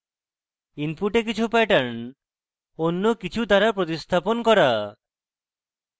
input কিছু pattern অন্য কিছু দ্বারা প্রতিস্থাপন করা